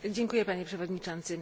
Dziękuję Panie Przewodniczący!